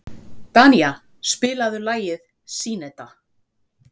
Danía, spilaðu lagið „Syneta“.